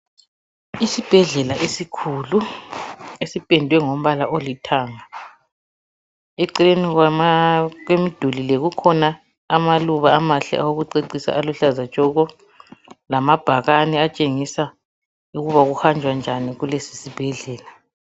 Isibhedlela esikhulu esiphendwe ngombala olithanga, eceleni kwemiduli le kukhona abaluba amahle awokucecisa aluhlaza tshoko lamabhakani atshengisa ukuba kuhanjwa njani kulesi sibhedlela.